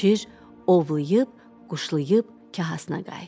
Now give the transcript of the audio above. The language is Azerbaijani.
Şir ovlayıb, quşlayıb kahasına qayıtdı.